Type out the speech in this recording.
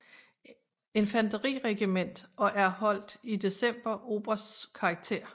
Infanteriregiment og erholdt i december obersts karakter